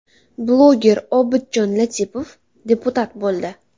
Bloger Obidjon Latipov deputat bo‘ldi.